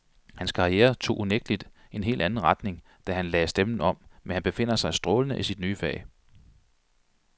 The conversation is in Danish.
Hans karriere tog unægteligt en hel anden retning, da han lagde stemmen om, men han befinder sig strålende i sit nye fag.